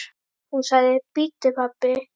Hún sagði: Bíddu pabbi.